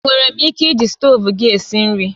Enwere m ike iji stovu gị esi nri?